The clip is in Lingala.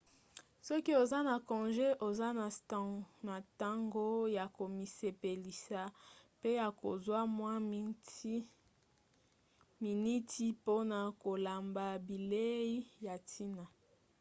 soki oza na conge oza na ntango ya komisepelisa pe ya kozwa mwa miniti mpona kolamba bilei ya ntina